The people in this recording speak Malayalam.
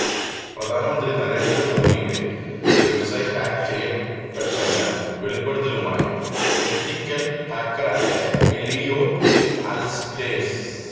പ്രധാനമന്ത്രി നരേന്ദ്ര മോദിയുടെ വെബ്സൈറ്റ് ഹാക്ക് ചെയ്യപ്പെട്ടെന്ന വെളിപ്പെടുത്തലുമായി എത്തിക്കല് ഹാക്കറായ എല്ലിയോട്ട് ആല്ഡേഴ്സന്